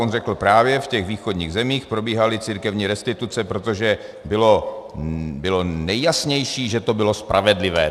On řekl: Právě v těch východních zemích probíhaly církevní restituce, protože bylo nejjasnější, že to bylo spravedlivé.